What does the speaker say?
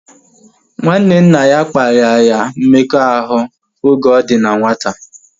Nwanne nna ya kparia ya mmekọahụ oge ọ dị na nwata